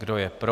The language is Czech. Kdo je pro.